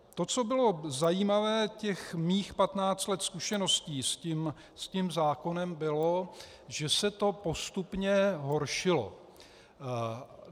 To, co bylo zajímavé, těch mých patnáct let zkušeností s tím zákonem, bylo, že se to postupně horšilo.